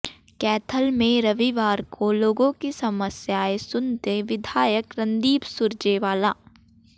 कैथल में रविवार को लोगों की समस्याएं सुनते विधायक रणदीप सुरजेवाला